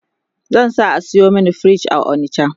zan sa a sayo min fridge a onicha